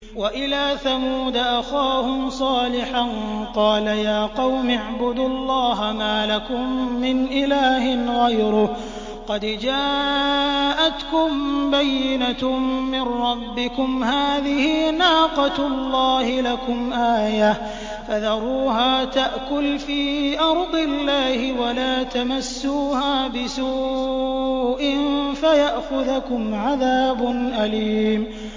وَإِلَىٰ ثَمُودَ أَخَاهُمْ صَالِحًا ۗ قَالَ يَا قَوْمِ اعْبُدُوا اللَّهَ مَا لَكُم مِّنْ إِلَٰهٍ غَيْرُهُ ۖ قَدْ جَاءَتْكُم بَيِّنَةٌ مِّن رَّبِّكُمْ ۖ هَٰذِهِ نَاقَةُ اللَّهِ لَكُمْ آيَةً ۖ فَذَرُوهَا تَأْكُلْ فِي أَرْضِ اللَّهِ ۖ وَلَا تَمَسُّوهَا بِسُوءٍ فَيَأْخُذَكُمْ عَذَابٌ أَلِيمٌ